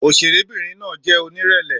Òṣèrébìnrin náà jẹ́ onírẹ̀lẹ̀.